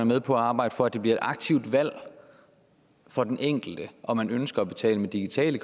med på at arbejde for at det bliver et aktivt valg for den enkelte om man ønsker at betale med digitale